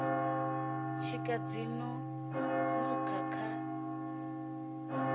tshika dzi no nukha kha